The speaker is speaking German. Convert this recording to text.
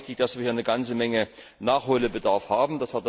Es ist auch richtig, dass wir hier eine ganze Menge Nachholbedarf haben.